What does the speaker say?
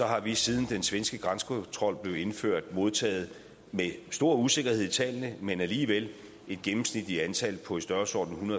har vi siden den svenske grænsekontrol blev indført modtaget der er stor usikkerhed omkring tallene men alligevel et gennemsnitligt antal på i størrelsesordenen